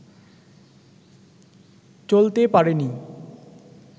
চলতে পারেনি